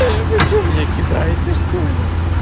эй вы что меня кидайте что ли